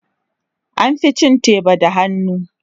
An fi cin teba da hannu.